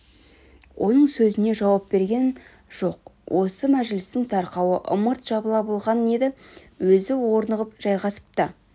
оның сөзіне жауап берген жоқ осы мәжілістің тарқауы ымырт жабыла болған еді өзі орнығып жайғасып та